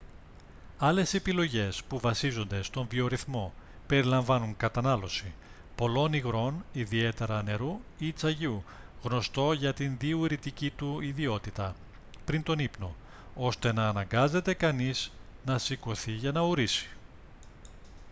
άλλες επιλογές που βασίζονται στον βιορυθμό περιλαμβάνουν κατανάλωση πολλών υγρών ιδιαίτερα νερού ή τσαγιού γνωστό για τη διουρητική του ιδιότητα πριν τον ύπνο ώστε να αναγκάζεται κανείας να σηκωθεί για να ουρήσει